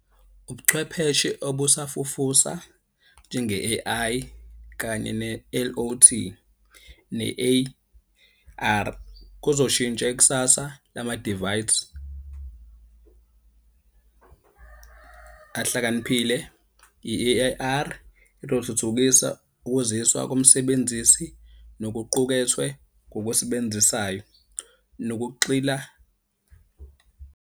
Ubuchwepheshe obusafufusa njenge-A_I, kanye ne-L_O_T, ne-A_R, kuzoshintsha ikusasa lama-divides ahlakaniphile.i-A_R izothuthukisa ukuziswa komsebenzisi nokuqukethwe ngokwesebenzisayo nokuxila.